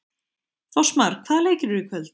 Fossmar, hvaða leikir eru í kvöld?